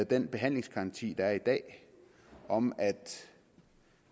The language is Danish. den behandlingsgaranti der er i dag om at